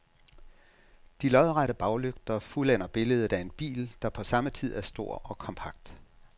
De lodrette baglygter fuldender billedet af en bil, der på samme tid er stor og kompakt.